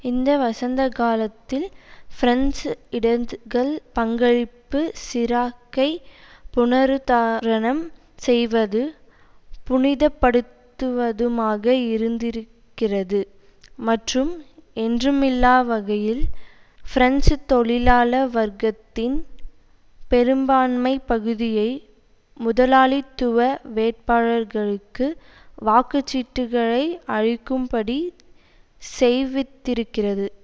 இந்த வசந்த காலத்தில் பிரெஞ்சு இடதுகள் பங்களிப்பு சிராக்கை புனருத்தா ரணம் செய்வதும் புனிதப்படுத்துவதுமாக இருந்திருக்கிறது மற்றும் என்றுமில்லாவகையில் பிரெஞ்சு தொழிலாள வர்க்கத்தின் பெரும்பான்மை பகுதியை முதலாளித்துவ வேட்பாளர்களுக்கு வாக்கு சீட்டுக்களை அளிக்கும்படி செய்வித்திருக்கிறது